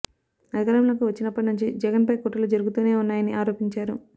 అధికారంలోకి వచ్చినప్పటి నుంచి జగన్ పై కుట్రలు జరుగుతూనే ఉన్నాయని ఆరోపించారు